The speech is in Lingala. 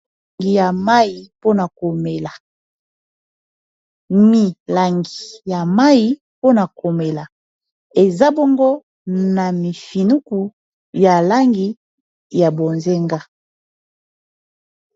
Milangi ya mayi mpona komela eza bongo na mifinuku ya langi ya bonzenga.